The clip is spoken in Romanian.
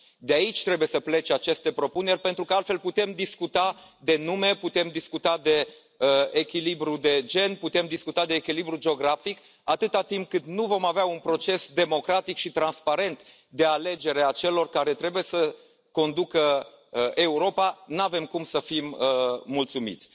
De aici trebuie să plece aceste propuneri, pentru că altfel putem discuta de nume, putem discuta de echilibru de gen, putem discuta de echilibru geografic, atât timp cât nu vom avea un proces democratic și transparent de alegere a celor care trebuie să conducă Europa, nu avem cum să fim mulțumiți.